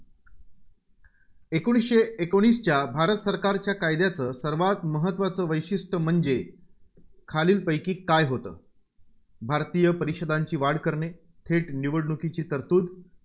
एकोणीसशे एकोणीसच्या भारत सरकारच्या कायद्याचं सर्वांत महत्त्वाचं वैशिष्ट्यं म्हणजे खालीलपैकी काय होतं? भारतीय परिषदांची वाढ करणे, थेट निवडणुकीची तरतुद